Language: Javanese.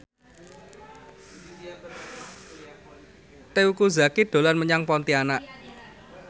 Teuku Zacky dolan menyang Pontianak